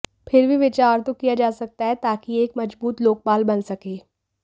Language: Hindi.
फिर भी विचार तो किया जा सकता है ताकि एक मजबूत लोकपाल बन सके